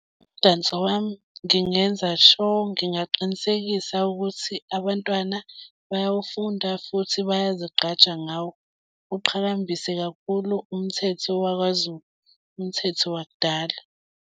Umdanso wami, ngingenza sure, ngingaqinisekisa ukuthi abantwana bayawufunda futhi bayazigqaja ngawo. Uqhakambise kakhulu umthetho wakwaZulu, umthetho wakudala.